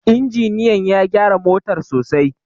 injiniyan ya gyara motar sosai